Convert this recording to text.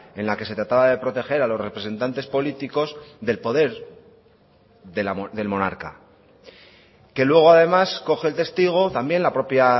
en la que se trataba de proteger a los representantes políticos del poder del monarca que luego además coge el testigo también la propia